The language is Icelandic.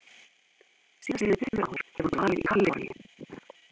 Síðastliðin tuttugu ár hefur hún dvalið í Kaliforníu.